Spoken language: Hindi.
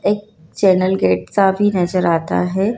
एक चैनल गेट सा भी नजर आता है।